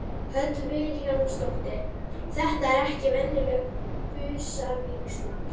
Hödd Vilhjálmsdóttir: Þetta er ekki venjuleg busavígsla?